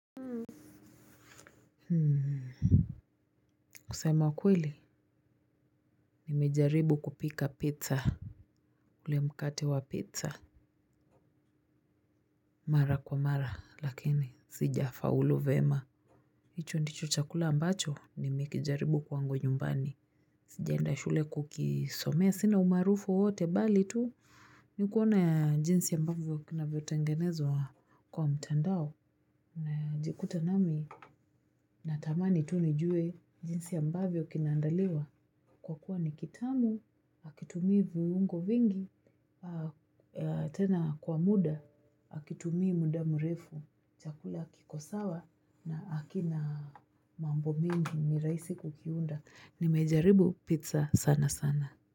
Hmm kusama kweli nimejaribu kupika pizza ule mkate wa pizza mara kwa mara lakini sijafaulu vema hicho ndicho chakula ambacho nimekijaribu kwangu nyumbani sijaenda shule kukisomea sina umaarufu wowote bali tu nikuona ya jinsi ya mbavyo kinavyo tengenezwa kwa mtandao najikuta nami natamani tu nijue jinsi ambavyo kinaandaliwa. Kwa kuwa ni kitamu, hakitumii viungo vingi, tena kwa muda, hakitumii muda mrefu, chakula kikosawa na hakina mambo mingi ni rahisi kukiunda. Nimejaribu pizza sana sana.